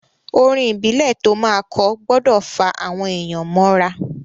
Orin ìbílẹ̀ to máa kọ gbọdọ̀ fá àwọn èyàn mọ́ ra.